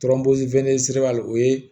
o ye